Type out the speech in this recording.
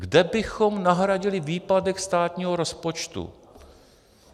Kde bychom nahradili výpadek státního rozpočtu?